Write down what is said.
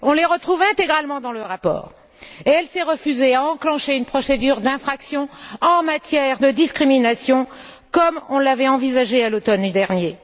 On les retrouve intégralement dans le rapport et elle s'est refusé à enclencher une procédure d'infraction en matière de discrimination, comme on l'avait envisagé à l'automne dernier.